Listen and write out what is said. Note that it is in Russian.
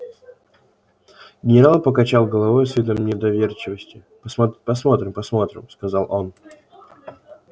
генерал покачал головою с видом недоверчивости посмотрим посмотрим сказал он